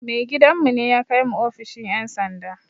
Mai gidan mu ne ya kai mu ofishin ƴan sanda